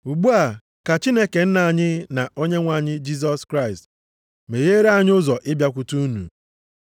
Ugbu a, ka Chineke Nna anyị na Onyenwe anyị Jisọs Kraịst megheere anyị ụzọ ịbịakwute unu.